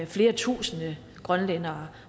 flere tusinde grønlændere